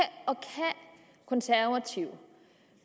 konservative